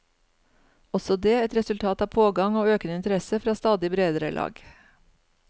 Også det et resultat av pågang og økende interesse fra stadig bredere lag.